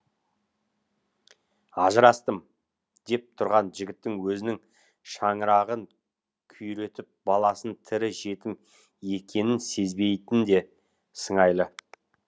ажырастым деп тұрған жігіттің өзінің шаңырағын күйретіп баласын тірі жетім еткенін сезбейтін де сыңайлы